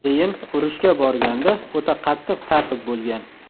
Keyin urushga borganda o‘ta qattiq tartib bo‘lgan.